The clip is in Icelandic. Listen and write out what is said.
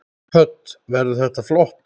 Hödd: Verður þetta flott?